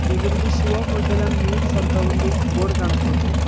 ಇದರಲ್ಲಿ Shiva hotel and meals ಅಂತ ಒಂದು ಬೋರ್ಡ್ ಕಾಣಿಸ್ತಾ ಇದೆ.